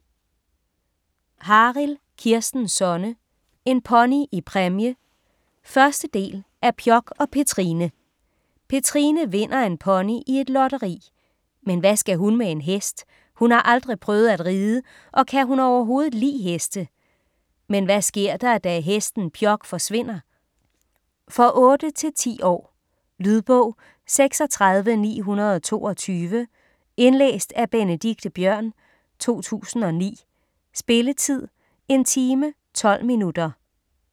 Harild, Kirsten Sonne: En pony i præmie 1. del af Pjok og Petrine. Petrine vinder en pony i et lotteri. Men hvad skal hun med en hest? Hun har aldrig prøvet at ride og kan hun overhovedet li' heste? Men hvad sker der, da hesten Pjok forsvinder? For 8-10 år. Lydbog 36922 Indlæst af Benedikte Biørn, 2009. Spilletid: 1 time, 12 minutter.